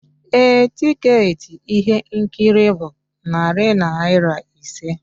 Ee, tiketi ihe nkiri bụ narị naira ise